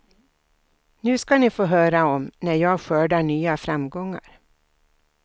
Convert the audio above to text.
Nu ska ni få höra om när jag skördar nya framgångar.